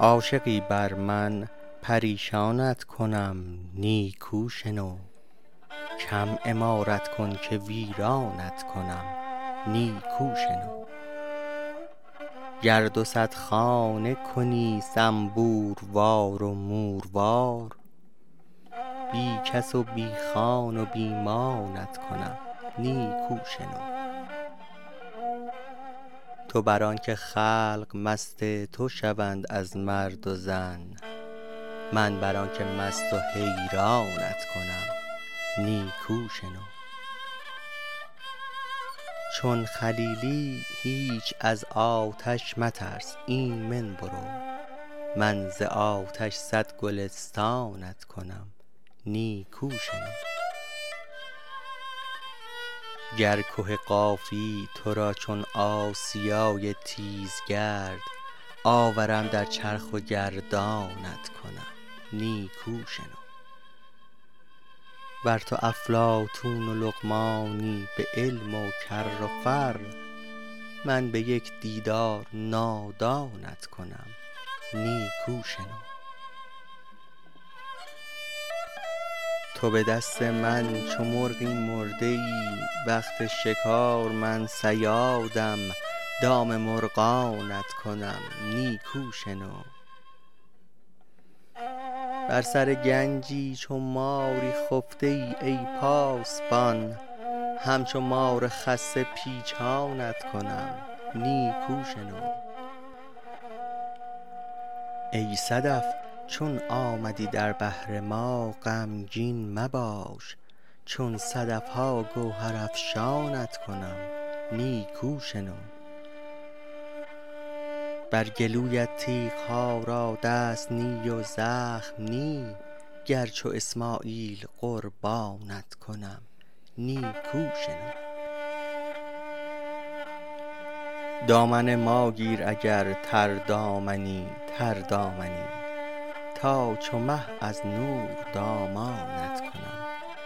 عاشقی بر من پریشانت کنم نیکو شنو کم عمارت کن که ویرانت کنم نیکو شنو گر دو صد خانه کنی زنبوروار و موروار بی کس و بی خان و بی مانت کنم نیکو شنو تو بر آنک خلق مست تو شوند از مرد و زن من بر آنک مست و حیرانت کنم نیکو شنو چون خلیلی هیچ از آتش مترس ایمن برو من ز آتش صد گلستانت کنم نیکو شنو گر که قافی تو را چون آسیای تیزگرد آورم در چرخ و گردانت کنم نیکو شنو ور تو افلاطون و لقمانی به علم و کر و فر من به یک دیدار نادانت کنم نیکو شنو تو به دست من چو مرغی مرده ای وقت شکار من صیادم دام مرغانت کنم نیکو شنو بر سر گنجی چو ماری خفته ای ای پاسبان همچو مار خسته پیچانت کنم نیکو شنو ای صدف چون آمدی در بحر ما غمگین مباش چون صدف ها گوهرافشانت کنم نیکو شنو بر گلویت تیغ ها را دست نی و زخم نی گر چو اسماعیل قربانت کنم نیکو شنو دامن ما گیر اگر تردامنی تردامنی تا چو مه از نور دامانت کنم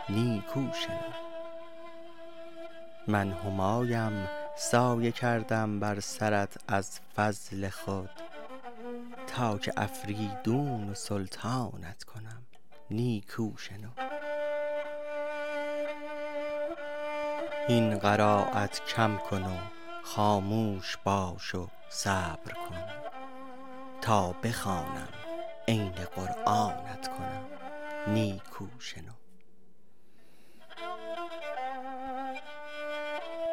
نیکو شنو من همایم سایه کردم بر سرت از فضل خود تا که افریدون و سلطانت کنم نیکو شنو هین قرایت کم کن و خاموش باش و صبر کن تا بخوانم عین قرآنت کنم نیکو شنو